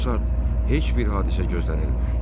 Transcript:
Bu saat heç bir hadisə gözlənilmir.